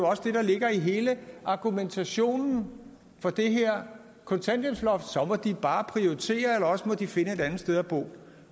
også det der ligger i hele argumentationen for det her kontanthjælpsloft så må de bare prioritere eller også må de finde et andet sted at bo